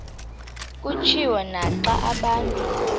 kutshiwo naxa abantu